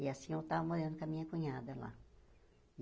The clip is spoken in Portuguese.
E assim eu estava morando com a minha cunhada lá.